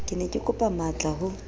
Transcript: ke ne kekopa matlaa ho